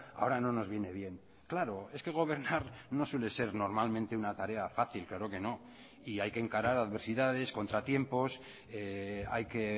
ahora no nos viene bien claro es que gobernar no suele ser normalmente una tarea fácil claro que no y hay que encarar adversidades contratiempos hay que